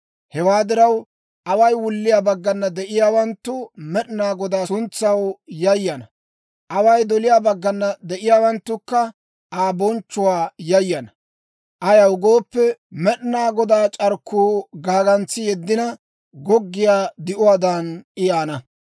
Hewaa diraw, away wulliyaa baggana de'iyaawanttu Med'inaa Godaa suntsaw yayana; away doliyaa baggana de'iyaawanttukka Aa bonchchuwaa yayana. Ayaw gooppe, Med'inaa Godaa c'arkkuu gaagantsi yeddina, goggiyaa di'uwaadan I yaana.